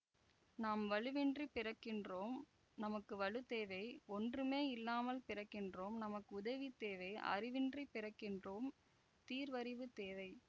நாம் வலுவின்றிப் பிறக்கின்றோம் நமக்கு வலு தேவை ஒன்றுமே இல்லாமல் பிறக்கின்றோம் நமக்கு உதவி தேவை அறிவின்றிப் பிறக்கின்றோம் தீர்வறிவு தேவை